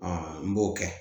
n b'o kɛ